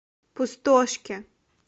пустошке